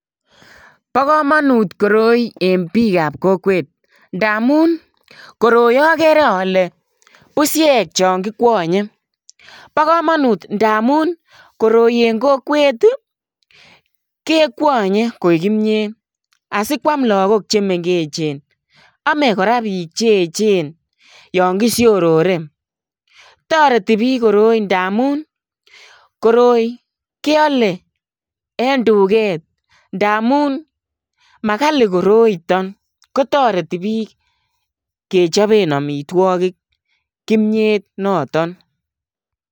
Bo kamanut koroi en biik ab kokweet ndamuun koroi agere ale busiek chaan kikwanyei bo kamanut ndamuun koroi en kokwet ii kekwanye koek kimyeet asikwaam lakook che mengechcheen ame kora biik che eecheen yaan kishorore ndamuun koroi kyale en dukeet ndamuun makali koroitaan kotaretii bik kechapeen amitwagiik kimyeet notoon.